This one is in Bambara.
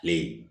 Kile